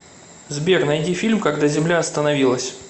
сбер найди фильм когда земля остановилась